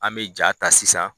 An me ja ta sisan